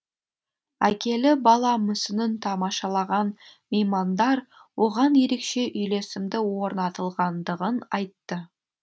әкелі бала мүсінін тамашалаған меймандар оған ерекше үйлесімді орнатылғандығын айтты